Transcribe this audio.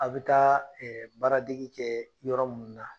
A bi taa baaradege kɛ yɔrɔ minnu na